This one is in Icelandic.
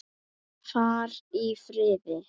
Far í friði.